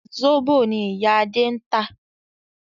Zobo ni ìyá Adé ń tà